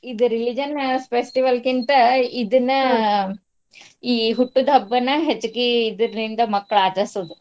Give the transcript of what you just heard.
ಇದ್ religion festival ಕಿಂತ ಇದನ್ನ. ಈ ಹುಟ್ಟಿದಬ್ಬಾನ ಹೆಚ್ಚಗಿ ಇದರ್ನಿಂದ ಮಕ್ಳ್ ಆಚರ್ಸೋದು .